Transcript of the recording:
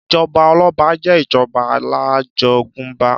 Ìjọba ọlọ́ba jẹ ìjọba alájogúnbá.